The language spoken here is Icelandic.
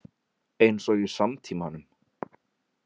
Eins og í samtímanum.